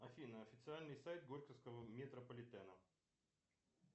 афина официальный сайт горьковского метрополитена